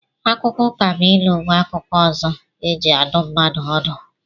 Akụkọ Ụkabụilu bụ akụkọ ọzọ e ji adụ mmadụ ọdụ